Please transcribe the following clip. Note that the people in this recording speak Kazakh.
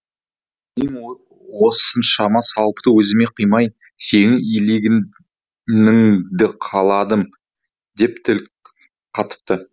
мен осыншама сауапты өзіме қимай сенің иеленгеніңді қаладым деп тіл қатыпты